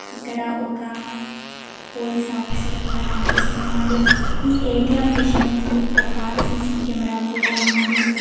ఇక్కడ ఒక police officer కూడా కనిపిస్తున్నాడు ఈ ఏ_టీ_ఎం మిషన్ కి ఒక సీ_సీ కెమెరా కూడా ఉంది.